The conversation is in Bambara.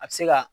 A bɛ se ka